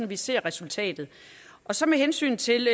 vi ser resultatet så med hensyn til